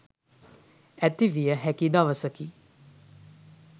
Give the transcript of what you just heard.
ඇතිවිය හැකි දවසකි.